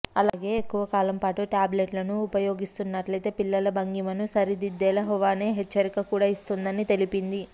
అలాగే ఎక్కువ కాలం పాటు టాబ్లెట్ను ఉపయోగిస్తున్నట్లయితే పిల్లల భంగిమను సరిదిద్దేలా హువావే హెచ్చరిక కూడా ఇస్తుందని తెలిపింది